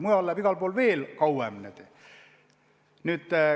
Mujal läheb igal pool veel kauem.